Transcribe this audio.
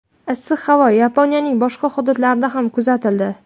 Issiq havo Yaponiyaning boshqa hududlarida ham kuzatildi.